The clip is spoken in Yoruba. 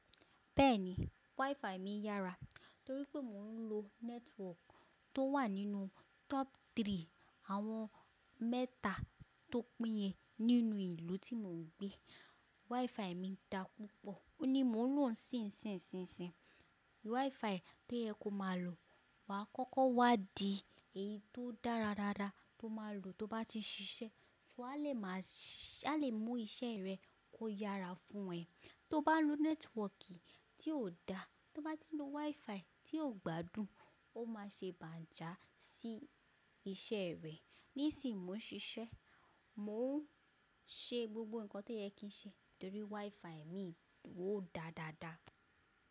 Bẹ́ẹ̀ni, WiFi mi yára torí pé mò ń lo nẹ́tíwọkì tó wà nínú tọ́pù three, àwọn mẹ́ta tó pínye nínú ìlú tí mò ń gbé. WiFi mi dá púpọ̀ ó ni mò ń lò ó ṣínṣínṣínṣín. WiFi to yẹ kó má lò, wà á kọ́kọ́ wá di èyí tó dára dára tó má lò tó bá ti ṣiṣẹ́, ṣó a lè má a lè mú iṣẹ́ rẹ kó yára fún ẹ. Tó bá lo nẹ́tíwọkì tí kò dá, tó bá ti lo WiFi tí ò gbádùn, ó má ṣe bàjá sí iṣẹ́ rẹ. Nísìín mó ń ṣiṣẹ́, mò ń ṣe gbogbo nǹkan tó yẹ kí n ṣe torí WiFi mi durò dáa dáa dáa.